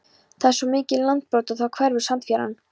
Það var svo mikið landbrot og þá hverfur sandfjaran.